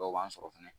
Dɔw b'an sɔrɔ fɛnɛ